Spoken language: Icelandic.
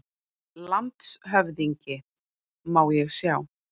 LANDSHÖFÐINGI: Má ég sjá?